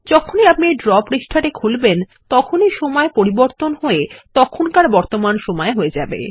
যখনই আপনি ড্র পৃষ্ঠাটি খুলবেন তখন ই সময় পরিবর্তন হয়ে তখনকার বর্তমান সময় হয়ে যাবে